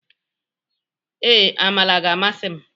Ee, amala ga-amasị m.